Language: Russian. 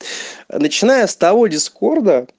начиная с того дискорда